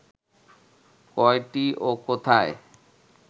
কয়টি ও কোথায়